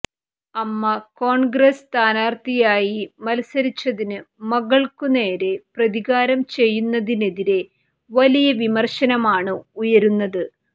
അമ്മ കോൺഗ്രസ് സ്ഥാനാർത്ഥിയായി മത്സരിച്ചതിന് മകൾക്കുനേരെ പ്രതികാരം ചെയ്യുന്നതിനെതിരെ വലിയ വിമർശനമാണ് ഉയരുന്നത്്